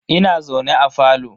Ina zaune a falo.